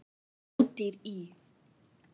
Ódýr í